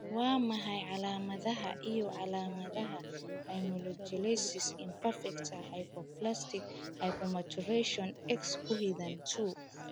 Waa maxay calaamadaha iyo calaamadaha Amelogenesis imperfecta, hypoplastic/hypomaturation, X ku xidhan 2?